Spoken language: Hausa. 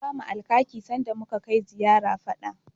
An bamu Alkaki sanda muka kai ziyara fada.